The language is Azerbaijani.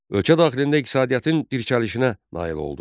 Ölkə daxilində iqtisadiyyatın bərkəlişinə nail oldu.